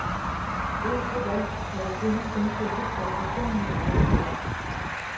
Indtil da havde kvinder kun kæmpet for personlige rettigheder.